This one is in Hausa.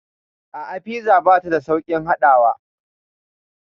A'a, fiza bata da sauƙin haɗawa.